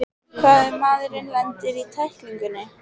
Hvað ef maðurinn lendir í tæklingunni?